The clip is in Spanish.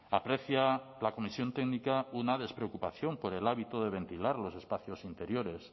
aprecia la comisión técnica una despreocupación por el hábito de ventilar los espacios interiores